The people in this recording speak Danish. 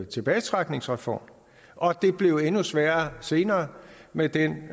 tilbagetrækningsreform og det blev endnu sværere senere med den